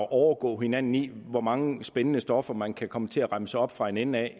at overgå hinanden i hvor mange spændende stoffer man kan komme til at remse op fra en ende af